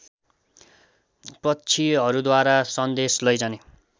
पक्षीहरूद्वारा सन्देश लैजाने